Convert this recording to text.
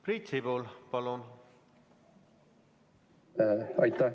Priit Sibul, palun!